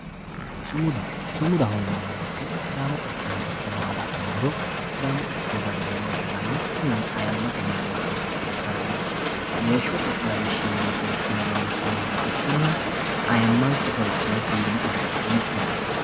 sumuda sumudaho yineemmo wote sidaamu quchumi giddo nooha la'nummoro sidaamu quchumira mereeroho heeranno kunino ayiimmate mayiimma seekke xawisanno weeshshote lawishshinni loonsoonniha ikkanna ayiimmanke iso la; niha ikkiro fiine anfanni yaat.